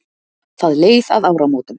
Það leið að áramótum.